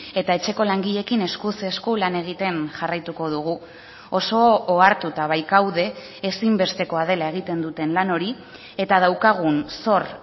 eta etxeko langileekin eskuz esku lan egiten jarraituko dugu oso ohartuta baikaude ezinbestekoa dela egiten duten lan hori eta daukagun zor